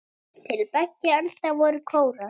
Til beggja enda voru kórar.